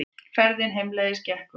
Ferðin heimleiðis gekk vel.